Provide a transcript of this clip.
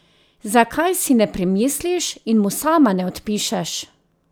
Zakaj si ne premisliš in mu sama ne odpišeš?